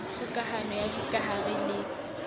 kgoka hano ya dikahare le